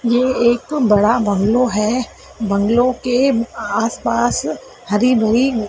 ये एक बड़ा बंगलो है। बंगलो के आसपास हरि --